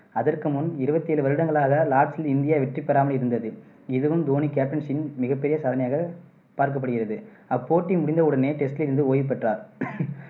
அதற்குமுன் இருவத்தி ஏழு வருடங்களாக லார்ட்ஸில் இந்தியா வெற்றிபெறாமல் இருந்தது. இதுவும் தோனி captaincy யின் மிகப்பெரிய சாதனையாகப் பார்க்கப்படுகிறது. அப்போட்டி முடிந்தவுடனே test லிருந்து ஓய்வு பெற்றார்